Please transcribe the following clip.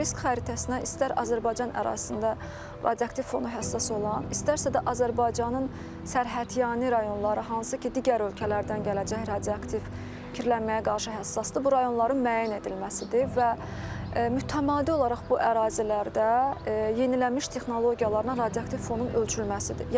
Risk xəritəsinə istər Azərbaycan ərazisində radioaktiv fona həssas olan, istərsə də Azərbaycanın sərhədyanı rayonları hansı ki, digər ölkələrdən gələcək radioaktiv kirlənməyə qarşı həssasdır, bu rayonların müəyyən edilməsidir və mütəmadi olaraq bu ərazilərdə yenilənmiş texnologiyalarla radioaktiv fonun ölçülməsidir.